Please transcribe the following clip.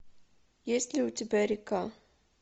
есть ли у тебя река